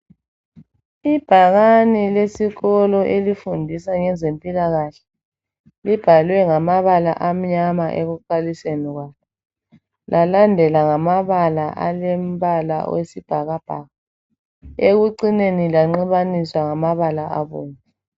Ibhakane lesikolo elifundisa ngezempilakahle libhalwe ngamabala amnyama ekuqaliseni kwalo lalandela ngamabala alombala wesibhakabhaka. Ekucineni lanxibaniswa ngamabala abomvu.